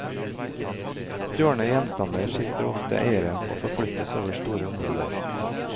Stjålne gjenstander skifter ofte eiere og forflyttes over store områder.